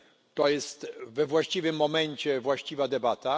To jest we właściwym momencie, właściwa debata.